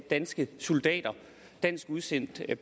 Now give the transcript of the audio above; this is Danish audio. danske soldater dansk udsendt